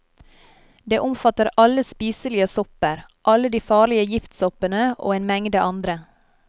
Det omfatter alle spiselige sopper, alle de farlige giftsoppene, og en mengde andre.